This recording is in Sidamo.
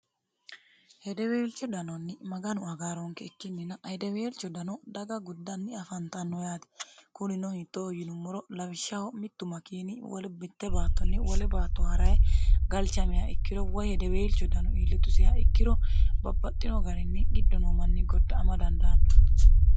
hedeweelcho danonni maganu agaaroonke ikkinnina hedeweelcho dano daga guddanni afantanno yaate kunino hittoo yinummoro lawishshaho mittu makiini wole mitte baattonni wole baatto ha'raye galchamiya ikkiro woy hedeweelcho dano iillitusiha ikkiro babbaxxino garinni giddo noo manni godda'ama dandaanno